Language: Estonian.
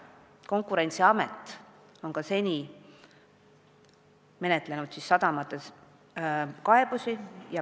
Konkurentsiamet on ka seni menetlenud sadamateenuseid puudutanud kaebusi.